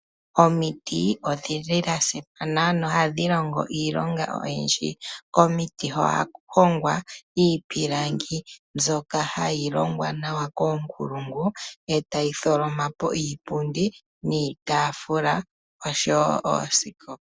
Omiti odhili dhasimana na ohadhi longo iilonga oyindji. Omiti ohaku hongwa iipilangi mbyoka hayi longwa nawa koonkulungu e tayi tholoma po iipundi niitaafula oshowo oosikopa.